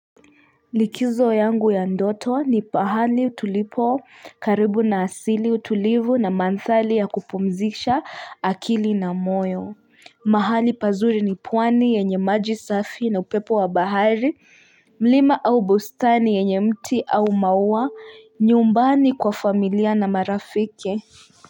Likizo yangu ya ndoto ni pahali tulipo karibu na asili utulivu na manthari ya kupumzisha akili na moyo mahali pazuri ni pwani yenye maji safi na upepo wa bahari mlima au bustani yenye mti au maua nyumbani kwa familia na marafiki.